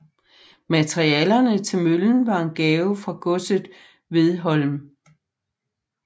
Materialerne til møllen var en gave fra godset Hvedholm